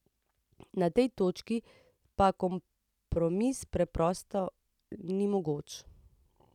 Na tej točki pa kompromis preprosto ni mogoč.